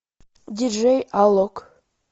диджей алок